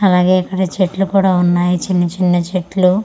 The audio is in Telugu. అలాగే ఇక్కడ చెట్లు కూడా ఉన్నాయి చిన్న చిన్న చెట్లు.